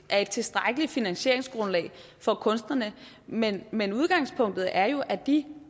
er et tilstrækkeligt finansieringsgrundlag for kunstnerne men men udgangspunktet er jo at de